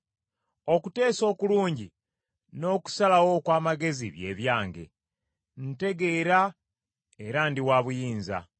Okuteesa okulungi n’okusalawo okw’amagezi bye byange; ntegeera era ndi wa buyinza.